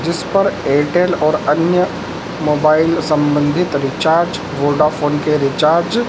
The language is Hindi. जिस पर एयरटेल और अन्य मोबाइल संबंधित रिचार्ज वोडाफोन के रिचार्ज --